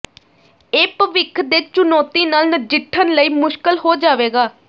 ਇਹ ਭਵਿੱਖ ਦੇ ਚੁਣੌਤੀ ਨਾਲ ਨਜਿੱਠਣ ਲਈ ਮੁਸ਼ਕਲ ਹੋ ਜਾਵੇਗਾ